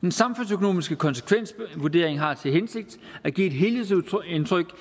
den samfundsøkonomiske konsekvensvurdering har til hensigt at give et helhedsindtryk